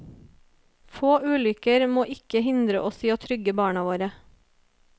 Få ulykker må ikke hindre oss i å trygge barna våre.